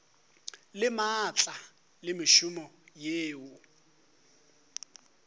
le maatla le mešomo yeo